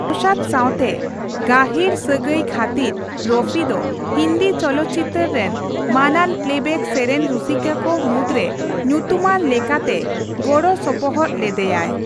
ᱱᱚᱣᱥᱟᱫ ᱥᱟᱸᱣᱛᱮ ᱜᱟᱹᱦᱤᱨ ᱥᱟᱹᱜᱟᱹᱭ ᱠᱷᱟᱹᱛᱤᱨ ᱨᱚᱯᱷᱤ ᱫᱚ ᱦᱤᱱᱫᱤ ᱪᱚᱞᱚᱛᱪᱤᱛᱟᱹᱨ ᱨᱮᱱ ᱢᱟᱹᱱᱟᱱ ᱯᱮᱞᱮᱵᱮᱠ ᱥᱮᱨᱮᱧ ᱨᱩᱥᱤᱠᱟ ᱠᱚ ᱢᱩᱫᱨᱮ ᱧᱩᱛᱩᱢᱟᱱ ᱞᱮᱠᱟᱛᱮ ᱜᱚᱲᱚ ᱥᱚᱯᱚᱦᱚᱫ ᱞᱮᱫᱮᱭᱟᱭ ᱾